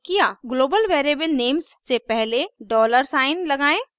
global variable names से पहले dollar sign $ लगाएं